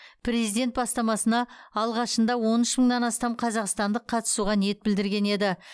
президент бастамасына алғашында он үш мыңнан астам қазақстандық қатысуға ниет білдірген еді